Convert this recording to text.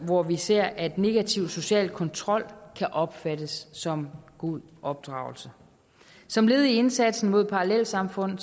hvor vi ser at negativ social kontrol kan opfattes som god opdragelse som led i indsatsen mod parallelsamfund